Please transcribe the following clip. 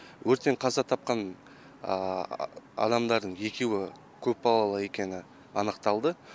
өрттен қаза тапқан адамдардың екеуі көпбалалы екені анықталды